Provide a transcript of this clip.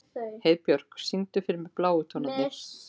Heiðbjörk, syngdu fyrir mig „Bláu tónarnir“.